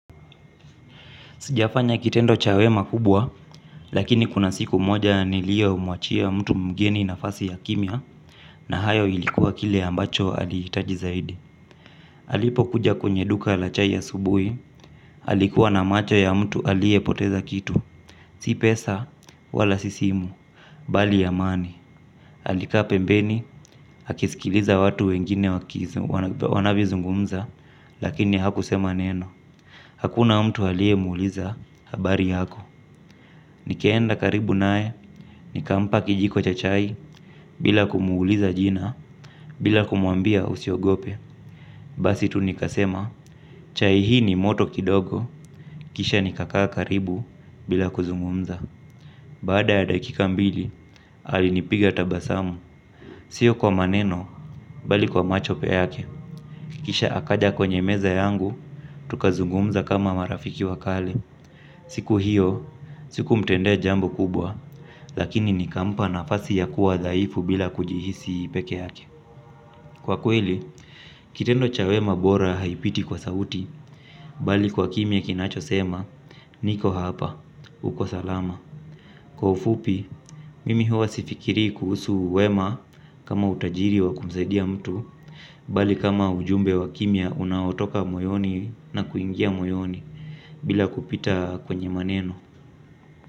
Sijafanya kitendo cha wema kubwa, lakini kuna siku moja niliyomuachia mtu mgeni nafasi ya kimya, na hayo ilikuwa kile ambacho aliitaji zaidi. Alipo kuja kwenye duka la chai asubuhi, alikuwa na macho ya mtu aliyepoteza kitu. Si pesa, wala si simu, bali amani. Alikaa pembeni, akisikiliza watu wengine wanavyozungumza, lakini hakusema neno. Hakuna mtu aliyemuuliza habari yako, nikaenda karibu naye, nikampa kijiko cha chai bila kumuuliza jina, bila kumuambia usiogope. Basi tu nikasema, chai hii ni moto kidogo, kisha nikakaa karibu bila kuzungumza. Baada ya dakika mbili, alinipiga tabasamu, sio kwa maneno, bali kwa macho yake. Kisha akaja kwenye meza yangu, tukazungumza kama marafiki wa kale. Siku hiyo, sikumtendea jambo kubwa, lakini nikampa nafasi ya kuwa dhaifu bila kujihisi peke yake. Kwa kweli, kitendo cha wema bora haipiti kwa sauti, bali kwa kimya kinachosema, niko hapa, uko salama. Kwa ufupi, mimi huwa sifikirii kuhusu wema kama utajiri wa kumsaidia mtu, bali kama ujumbe wa kimya unaotoka moyoni na kuingia moyoni bila kupita kwenye maneno.